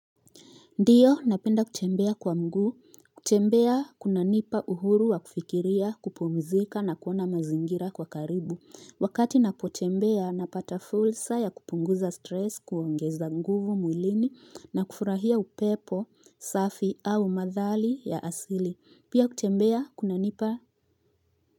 Ndiyo, napenda kutembea kwa mguu. Kutembea kunanipa uhuru wa kufikiria, kupumzika, na kuona mazingira kwa karibu. Wakati napotembea napata fursa ya kupunguza stress, kuongeza nguvu mwilini, na kufurahia upepo safi au mandhali ya asili. Pia kuchembea kuna nipa.